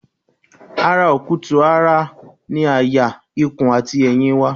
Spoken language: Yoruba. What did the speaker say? Ara okutu-ara ni àyà ikùn àti ẹ̀yìn wà